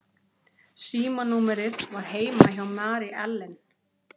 Símanúmerið var heima hjá Mary Ellen.